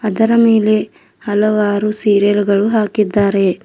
ಅದರ ಮೇಲೆ ಹಲವಾರು ಸೀರಿಯಲ್ಗಳು ಹಾಕಿದ್ದಾರೆ.